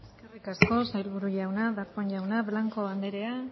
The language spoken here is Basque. eskerrik asko sailburu jauna darpón jauna blanco anderea